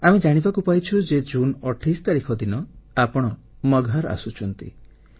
ଆମେ ଜାଣିବାକୁ ପାଇଛୁ ଯେ ଜୁନ୍ 28 ତାରିଖ ଦିନ ଆପଣ ମଗହର ଆସୁଛନ୍ତି